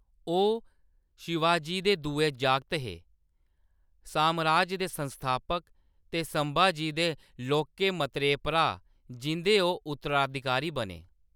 ओह्‌‌ शिवाजी दे दुए जागत हे, सामराज दे संस्थापक ते संभाजी दे लौह्‌‌‌के मतरेऽ भ्राऽ, जिंʼदे ओह्‌‌ उत्तराधिकारी बने।